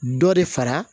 Dɔ de fara